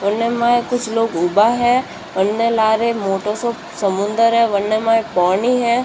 कुछ लोग उभा है अने लारे मोटो सो समुंदर है वन्ने में पानी है।